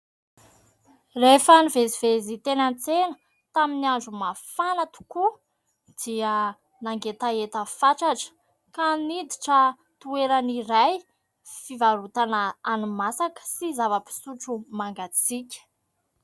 Rehefa nivezivezy teny an-tsena tamin'ny andro mafana tokoa dia nangetaheta fatratra ka niditra toerana iray fivarotana hani-masaka sy zava-pisotro mangatsiaka.